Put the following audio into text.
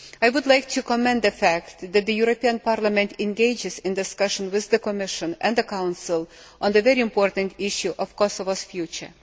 I would like to commend the fact that the European Parliament engages in discussion with the Commission and the Council on the very important issue of Kosovo's future.